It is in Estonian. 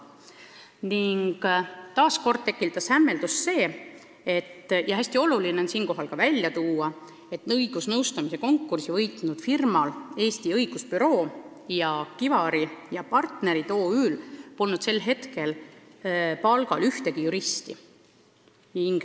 Nii tekitas väga suurt hämmeldust fakt – ja hästi oluline on see siinkohal välja tuua –, et õigusnõustamise konkursi võitnud firmadel Eesti Õigusbüroo ja Kivar & Partnerid OÜ polnud sel hetkel palgal ühtegi juristi.